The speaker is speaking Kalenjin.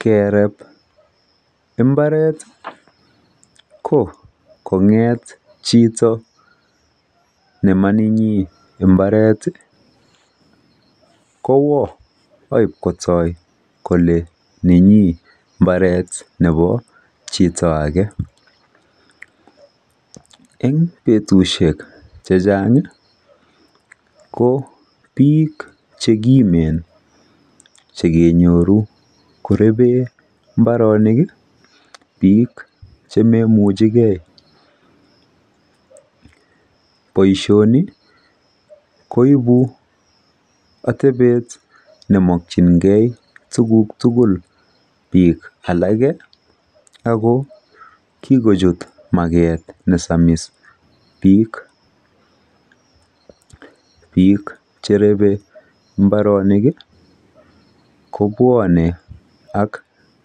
Kereb mbareti kokonget chito nemanenyin mbareti kowoo aipkotoi kole nenyin mbaret nepo chito ake en betushek chechang kobiik chekimen chekenyoru koreben mbarenik biik chemomuchekee boishoni koipu otepet nemokyinikee tuguk tugul biik alake Ako kikochut market nesamis biik biik cherebe mbareniki kobwone ak